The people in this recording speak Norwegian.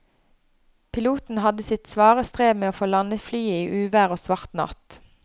Piloten hadde sitt svare strev med å få landet flyet i uvær og svart natt.